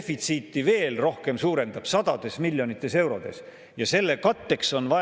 Me hakkasime 26%-lt pihta, ja kui ma nüüd õigesti mäletan, siis oli vist Reformierakonna programmis kirjas, et peaks tulumaksuga jõudma 16%-ni.